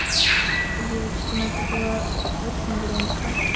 девочки но это было очень громко